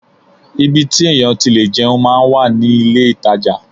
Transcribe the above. Ibi tí èèyàn ti lè jẹun máa ń wà ní ilé-ìtajà